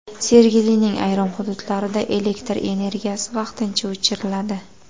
Sergelining ayrim hududlarida elektr energiyasi vaqtincha o‘chiriladi.